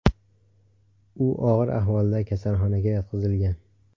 U og‘ir ahvolda kasalxonaga yotqizilgan.